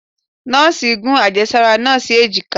nọọsi gún ajésárá naa sí ejika